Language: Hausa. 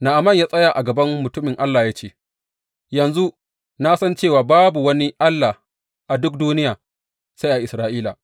Na’aman ya tsaya a gaban mutumin Allah ya ce, Yanzu na san cewa babu wani Allah a duk duniya sai a Isra’ila.